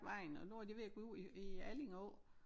Vejen og nu er det ved at gå ud i i Alling Å